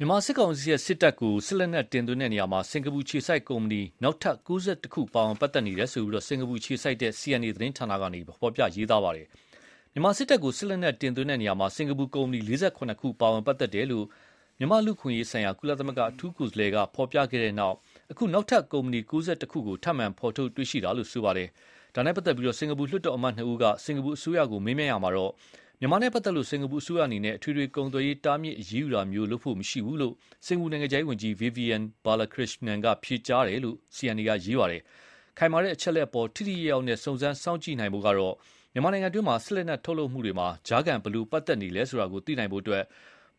မြန်မာစစ်ကောင်စီ စစ်တပ်ကို စစ်လက်နက်တင်သွင်းရာမှာ စင်ကာပူအခြေစိုက်ကုမ္ပဏီ နောက်ထပ် ၉၁ ခု ပါဝင်ပတ်သက်နေတယ်လို့ စင်ကာပူအခြေစိုက် CNA သတင်းဌာနက ဖော်ပြပါတယ်။ မြန်မာစစ်တပ်ကို စစ်လက်နက်တင်သွင်းရာမှာ စင်ကာပူ ကုမ္ပဏီ ၄၇ ခု ပါဝင်ပတ်သက်တယ်လို့ မြန်မာ့လူ့အခွင့်အရေး ဆိုင်ရာ ကုလသမဂ္ဂအထူးကိုယ်စားလှယ်က ဖော်ပြခဲ့တဲ့နောက် အခု နောက်ထပ် ကုမ္ပဏီ ၉၁ ခုကို ထပ်မံ ဖော်ထုတ်တွေ့ရှိရတာလို့ ဖော်ပြပါတယ်။ ဒါနဲ့ပတ်သက်လို့ စင်ကာပူလွှတ်တော်အမတ်နှစ်ဦးက စင်ကာပူအစိုးရကို မေးမြန်းရာမှာ မြန်မာနဲ့ပတ်သက် လို့ စင်ကာပူအစိုးရအနေနဲ့ အထွေထွေကုန်သွယ်ရေးတားမြစ်အရေးယူတာမျိုးလုပ်ဖို့ မရှိဘူးလို့ပဲ စင်ကာပူနိုင်ငံခြားရေးဝန်ကြီး Vivian Balakrishnan က ဖြေကြားရှင်းလင်းတယ်လို့ CNA က ရေးပါတယ်။ခိုင်မာတဲ့အချက်လက်အပေါ် ထိထိရောက်ရောက်နဲ့ စုံစမ်းစောင့်ကြည့်နိုင်ဖို့ကတော့ မြန်မာနိုင်ငံတွင်း စစ်လက်နက်ထုတ်လုပ်မှုတွေမှာ ကြားခံဘယ်လိုပတ်သက်နေလဲဆိုတာ သိနိုင်ဖို့အတွက်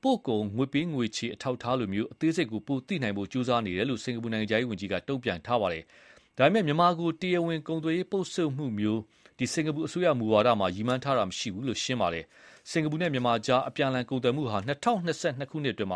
ပို့ကုန်ငွေပေးငွေ ချေတဲ့ အထောက်အထားလိုမျိုး အသေးစိတ်ပိုသိနိုင်ဖို့ ကြိုးစားနေတယ်လို့ စင်ကာပူနိုင်ငံခြားရေးဝန်ကြီး က တုန့်ပြန်ခဲ့တယ်လို့ဆိုပါတယ်။ ဒါပေမယ့် မြန်မာကို တရားဝင်ကုန်သွယ်ရေးပိတ်ဆို့မှုမျိုးလုပ်ဖို့ စင်ကာပူအစိုးရမူဝါဒ ရည်မှန်းချက်မရှိဘူး လို့ ရှင်းပါတယ်။ စင်ကာပူနဲ့ မြန်မာအကြားအပြန်အလှန်ကုန်သွယ်မှုဟာ ၂၀၂၂ ခုနှစ်အတွင်း အ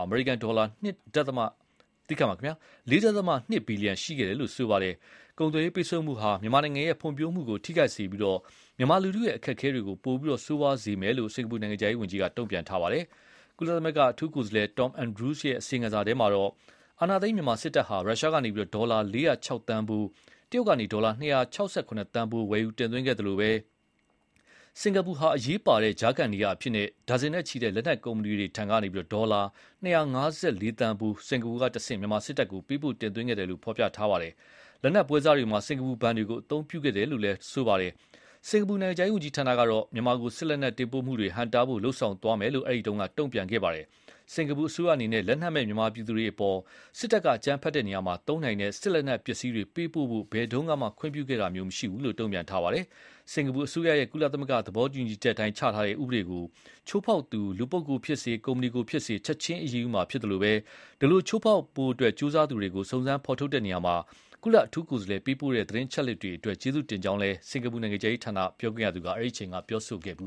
မေရိကန်ဒေါ်လာ ၄.၂ ဘီလီယံရှိခဲ့တယ်လို့လည်း ဆိုပါတယ်။ ကုန်သွယ်ရေးပိတ်ဆို့မှုဟာ မြန်မာနိုင်ငံဖွံ့ဖြိုးမှုကိုထိခိုက်စေပြီး မြန်မာလူထုရဲ့အခက်အခဲတွေကို ပိုပြီး ဆိုးရွားစေမယ်လို့လည်း စင်ကာပူနိုင်ငံခြားရေးဝန်ကြီးက တုန့်ပြန်ထားပါတယ်။ ကုလ အထူးကိုယ်စားလှယ် Tom Andrews ရဲ့ အစီရင်ခံစာထဲမှာတော့ အာဏာသိမ်း မြန်မာစစ်တပ်ဟာ ရုရှားကနေဒေါ်လာ ၄၀၆ သန်းဖိုး၊ တရုတ်ကနေ ဒေါ်လာ ၂၆၇ သန်း ဖိုးဝယ်ယူတင်သွင်းခဲ့သလိုပဲ၊ စင်္ကာပူဟာ အရေးပါတဲ့ကြားခံနေရာအဖြစ် ဒါဇင်နဲ့ချီတဲ့လက်နက်ကုမ္ပဏီတွေထံကနေ ဒေါ်လာ ၂၅၄ သန်းဖိုး စင်္ကာပူကတဆင့် မြန်မာစစ်တပ်ထံကို ပေးပို့တင်သွင်းခဲ့တယ်လို့ ဖော်ပြပါတယ်။ လက်နက်ပွဲစားတွေမှာ စင်ကာပူဘဏ်တွေကို အသုံးပြုခဲ့တယ်လို့လည်း ဖော်ပြပါတယ်။စင်ကာပူနိုင်ငံခြား ရေးဝန်ကြီးဌာနကတော့ မြန်မာကို စစ်လက်နက်တင်ပို့မှုတွေ ဟန့်တားဖို့ လုပ်ဆောင်သွားမယ်လို့ အဲဒီတုန်းက တုန်ပြန်ခဲ့ပါတယ်။ စင်္ကာပူအစိုးရ အနေနဲ့ လက်နက်မဲ့ မြန်မာပြည်သူတွေအပေါ် စစ်တပ်က အကြမ်းဖက်ရာမှာ သုံးနိုင်တဲ့ စစ်လက်နက်ပစ္စည်းတွေပေးပို့ဖို့ ဘယ်တုန်းကမှ ခွင့်ပြုခဲ့တာမရှိဘူးလို့ တုန့်ပြန်ပါတယ်။ စင်္ကာပူအစိုးရရဲ့ ကုလသဘောတူညီချက်အတိုင်း ချမှတ်ထားတဲ့ ဥပဒေကို ချိုးဖေါက်သူ လူပုဂ္ဂိုလ်ဖြစ်စေ၊ ကုမ္ပဏီကိုဖြစ်စေ ချက်ချင်း အရေးယူမှာဖြစ်သလို၊ ဒီလိုချိုးဖေါက်ဖို့ ကြိုးစားသူတွေကို စုံစမ်းဖေါ်ထုတ် ရာမှာ ကုလအထူးကိုယ်စားလှယ်ပေးတဲ့ သတင်းအချက်လက်တွေအတွက် ကျေးဇူးတင်ကြောင်းလည်း စင်္ကာပူနိုင်ငံခြားရေးဌာန ပြောခွင့်ရက အဲဒီအချိန်က ပြောခဲ့ပ